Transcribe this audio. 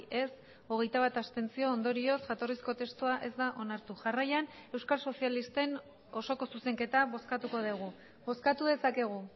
ez hogeita bat abstentzio ondorioz jatorrizko testua ez da onartu jarraian euskal sozialisten osoko zuzenketa bozkatuko dugu bozkatu dezakegu